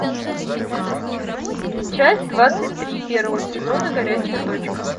часть двадцать три первого сезона горячая точка